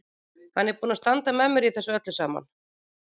Hann er búinn að standa með mér í þessu öllu saman.